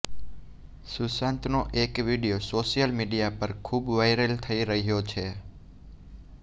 સુશાંતનો એક video social media પર ખૂબ વાયરલ થઈ રહ્યો છે